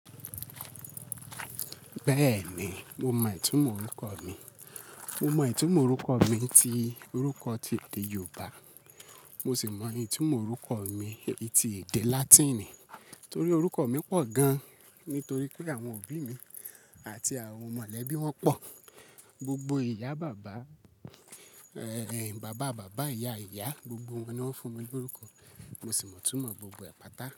Bẹ́ẹ̀ni, mo mọ ìtumọ̀ orúkọ mi. Mo mọ ìtumọ̀ orúkọ mi ti èdè Yorùbá, mo sì mọ ìtumọ̀ orúkọ mi ti èdè Latin. Nítorí orúkọ mi pọ̀ gan, nítorí pé àwọn òbí mi àti àwọn mọ̀lẹ́bí wọn pọ̀. Gbogbo ìyá bàbá, bàbá bàbá, ìyá ìyá, gbogbo wọn ni wọ́n fún mi lórúkọ, mo sì mọ ìtumọ̀ gbogbo àpáta.